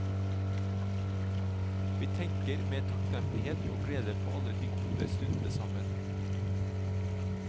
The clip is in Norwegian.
Vi tenker med takknemlighet og glede på alle de gode stundene sammen.